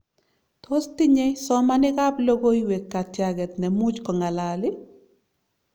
Tos tinye somanik ab logowek katiaget nemuch kongalal?